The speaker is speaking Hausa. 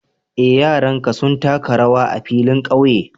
Eh, yaranka sun taka rawar a'filin ƙauye.